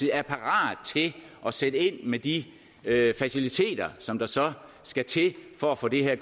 er parat til at sætte ind med de faciliteter som der så skal til for at få den her